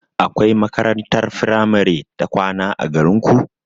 Akwai makarantar firamare ta kwana a garinku?